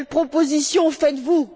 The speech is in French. Quelles propositions faites vous?